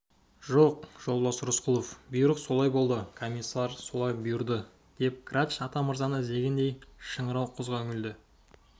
жоқ жолдас рысқұлов бұйрық солай болды комиссар солай бұйырды деп грач атамырзаны іздегендей шыңырау құзға үңілді